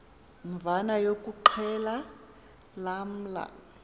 mvana yokuxhelwa lamla